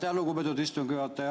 Aitäh, lugupeetud istungi juhataja!